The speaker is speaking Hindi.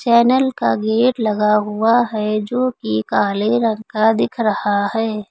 चैनल का गेट लगा हुआ है जो कि काले रंग का दिख रहा है।